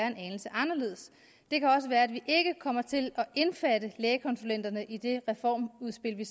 en anelse anderledes det kan også være at vi ikke kommer til at indbefatte lægekonsulenterne i det reformudspil vi